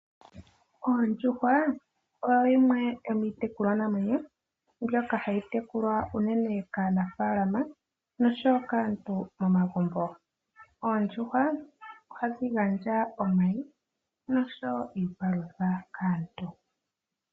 Oondjuhwa odho dhimwe dho miitekulwanamwenyo mbyoka hayi tekulwa unene kaanafaalama nosho woo kaantu momagumbo. Oondjuhwa ohadhi gandja omayi nosho woo iipalutha kaantu.